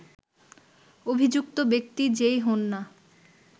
অভিযুক্ত ব্যক্তি যেই হোন না